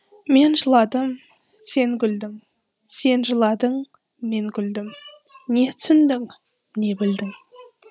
мен жыладым сен күлдің сен жыладың мен күлдім не түсіндің не білдің